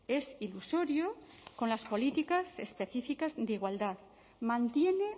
es ilusorio con las políticas específicas de igualdad mantiene